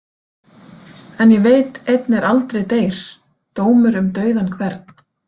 En ég veit einn er aldrei deyr: dómur um dauðan hvern.